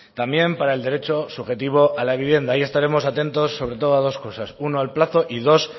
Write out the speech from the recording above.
también para el derecho subjetivo a la vivienda ahí estaremos atentos sobre todo a dos cosas una al plazo y dos